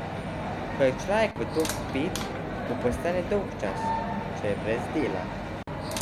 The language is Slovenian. Ko je človek v to vpet, mu postane dolgčas, če je brez dela.